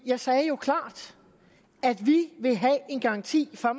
jeg sagde jo klart at vi vil have en garanti for